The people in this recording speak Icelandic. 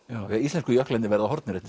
íslensku jöklarnir verða horfnir eftir